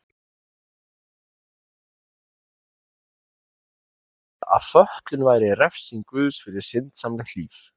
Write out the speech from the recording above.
Og minntist margsinnis þeirrar viðteknu skoðunar miðalda að fötlun væri refsing guðs fyrir syndsamlegt líf.